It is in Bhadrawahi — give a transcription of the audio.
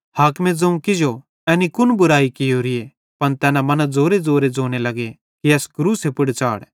हाकिमे ज़ोवं किजो एनी कुन बुरयाई कियोरीए पन तैना मना ज़ोरेज़ोरे ज़ोने लग्गे कि एस क्रूसे पुड़ च़ाढ़